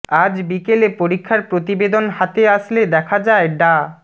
আজ বিকেলে পরীক্ষার প্রতিবেদন হাতে আসলে দেখা যায় ডা